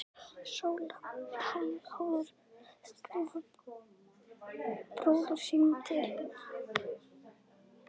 Sóla hafði áður skrifað bróður sínum til